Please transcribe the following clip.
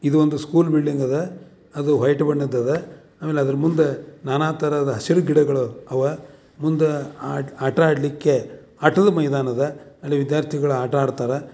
ಇದು ಒಂದು school building ಅದ ಅದು ವೈಟ್ ಬಣ್ಣ ಅದ ಅಮೇಲೆ ಅದರ ಮುಂದೆ ನಾನಾ ತರದ ಹಸಿರು ಗಿಡಗಳು ಅವ ಮುಂದ ಆಟ ಆಡಲಿಕ್ಕೆ ಆಟದ ಮೈದಾನ ಅದ ಅಲ್ಲಿ ವಿದ್ಯಾರ್ಥಿಗಳು ಆಟ ಆಡ್ತಾರ.